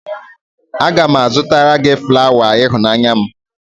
M ga-azụtara gị flawa ịhụnanya m